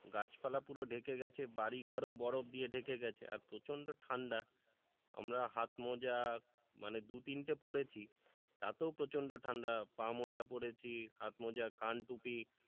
গাছপালা পুরো ঢেকে গেছে বাড়িঘর ও বরফ দিয়ে ঢেকে গেছে আর প্রচন্ড ঠান্ডা আমরা হাতমোজা মানে দু তিনটে পড়েছি তাতেও প্রচন্ড ঠান্ডা পা মোজা পড়েছি হাতমোজা কান টুপি,